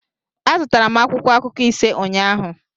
Azụtara m akwụkwọ akụkọ ise ụnyaahụ